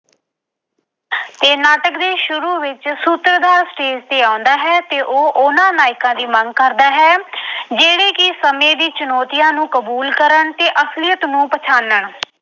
ਤੇ ਨਾਟਕ ਦੇ ਸ਼ੁਰੂ ਵਿੱਚ ਸੂਤਰਧਾਰ ਸਟੇਜ ਤੇ ਆਉਂਦਾ ਹੈ ਤੇ ਉਹ ਉਹਨਾਂ ਨਾਇਕਾਂ ਦੀ ਮੰਗ ਕਰਦਾ ਹੈ ਜਿਹੜੇ ਕਿ ਸਮੇਂ ਦੀ ਚੁਣੌਤੀਆਂ ਨੂੰ ਕਬੂਲ ਕਰਨ ਤੇ ਅਸਲੀਅਤ ਨੂੰ ਪਛਾਣਨ।।